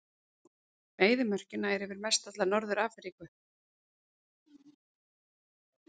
Eyðimörkin nær yfir mestalla Norður-Afríku.